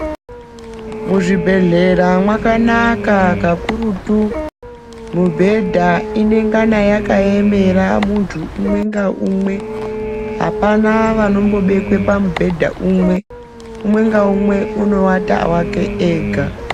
Muzvibhedhlera mwakanaka kakurutu. Mibhedha inengana yakaemera umwe ngaumwe. Apana vanombobekwe pamubhedha umwe. Umwe ngaumwe unoata wake ega.